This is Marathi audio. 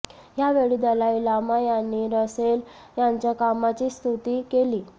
यावेळी दलाई लामा यांनी रसेल यांच्या कामाची स्तुती केली